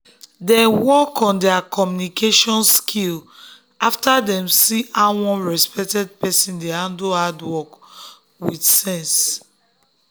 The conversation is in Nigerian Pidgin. dem work on their communication skill after dem see how one respected person dey handle hard talk with sense.